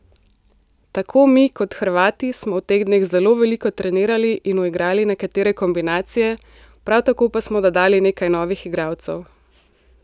Tako mi, kot Hrvati, smo v teh dneh zelo veliko trenirali in uigrali nekatere kombinacije, prav tako pa smo dodali nekaj novih igralcev.